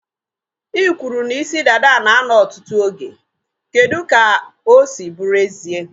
I kwụrụ na isi dada na a nọ ọtụtụ oge. Kedụ ka ọ si bụrụ ezie?